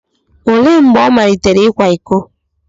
Olee mgbe ọ malitere ịkwa iko?